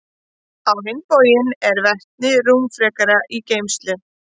Á hinn bóginn er vetni rúmfrekara í geymslu.